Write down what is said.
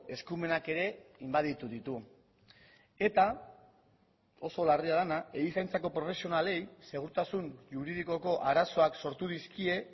eskumenak ere inbaditu ditu eta oso larria dena erizaintzako profesionalei segurtasun juridikoko arazoak sortu dizkie